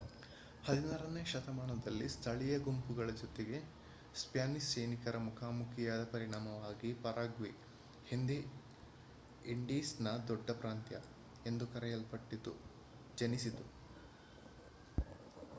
16ನೇ ಶತಮಾನದಲ್ಲಿ ಸ್ಥಳೀಯ ಗುಂಪುಗಳ ಜೊತೆಗೆ ಸ್ಪ್ಯಾನಿಷ್ ಸೈನಿಕರು ಮುಖಾಮುಖಿಯಾದ ಪರಿಣಾಮವಾಗಿ ಪರಾಗ್ವೆ ಹಿಂದೆ ಇಂಡೀಸ್‌ನ ದೊಡ್ಡ ಪ್ರಾಂತ್ಯ ಎಂದು ಕರೆಯಲ್ಪಟ್ಟಿತು ಜನಿಸಿತು